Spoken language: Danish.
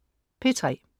P3: